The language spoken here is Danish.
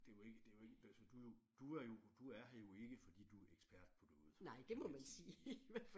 Det er jo ikke det er jo ikke altså sådan du er jo du er er her jo ikke fordi du er ekspert på noget må man sige